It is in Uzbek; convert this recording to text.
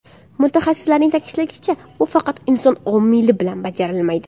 Mutaxassisning ta’kidlashicha, bu faqat inson omili bilan bajarilmaydi.